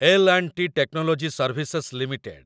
L and T Technology Services limited